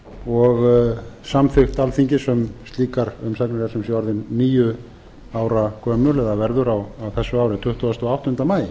og samþykkt alþingis um slíkar umsagnir er sem sé orðin níu ára gömul eða verður á þessu ári tuttugasta og áttunda maí